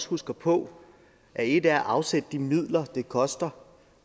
husker på at et er at afsætte de midler det koster